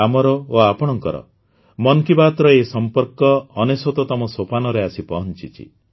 ଆମର ଓ ଆପଣଙ୍କର ମନ୍ କି ବାତ୍ର ଏହି ସମ୍ପର୍କ ୯୯ ତମ ସୋପାନରେ ଆସି ପହଂଚିଛି